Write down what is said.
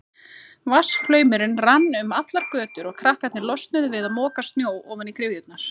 Vatnsflaumurinn rann um allar götur og krakkarnir losnuðu við að moka snjó ofan í gryfjurnar.